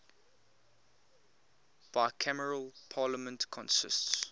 bicameral parliament consists